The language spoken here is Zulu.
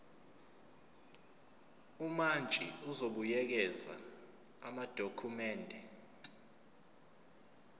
umantshi uzobuyekeza amadokhumende